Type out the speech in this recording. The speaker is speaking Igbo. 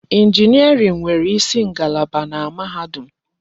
Injiniarin nwere isi ngalaba na mahadum.